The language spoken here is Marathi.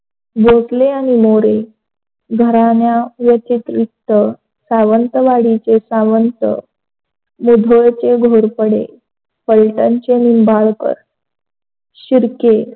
भोसले आणि मोरे घराण्या व्यतिरिक्त सावंतवाडीचे सावंत, मुधोळचे घोरपडे, पलटनचे निंबाळकर, शिरके.